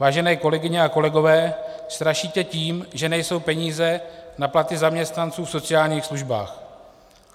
Vážené kolegyně a kolegové, strašíte tím, že nejsou peníze na platy zaměstnanců v sociálních službách.